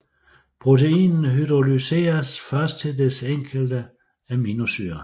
Proteinet hydrolyseres først til dets enkelte aminosyre